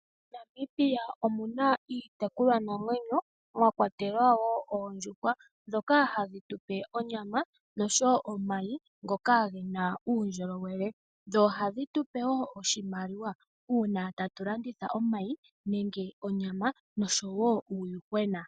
MoNamibia omuna iitekulwa namwenyo mwa kwatelwa woo oondjuhwa ndhoka hadhi tu pe onyama noshowo omayi ngoka gena uundjolowele. Ohadhi tupe woo oshimaliwa uuna ta tu landitha omayi nenge onyama nosho wo uuyuhwena.